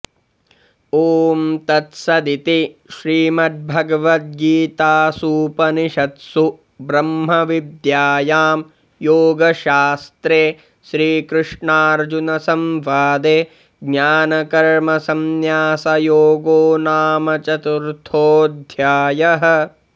ॐ तत्सदिति श्रीमद्भगवद्गीतासूपनिषत्सु ब्रह्मविद्यायां योगशास्त्रे श्रीकृष्नार्जुनसंवादे ज्ऽआनकर्मसन्न्यासयोगो नाम चतुर्थोऽध्यायः